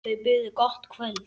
Þau buðu gott kvöld.